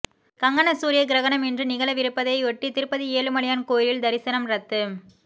கங்கண சூரிய கிரகணம் இன்று நிகழவிருப்பதையொட்டி திருப்பதி ஏழுமலையான் கோயிலில் தரிசனம் ரத்து